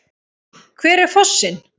Hver er fossinn?